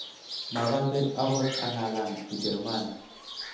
makose akot ang'alan Kijerumani